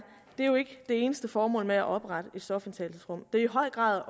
det eneste formål med at oprette et stofindtagelsesrum det er i høj grad